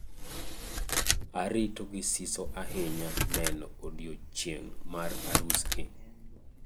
Arito gi siso ahinya neno odiechieng' mar arusgi.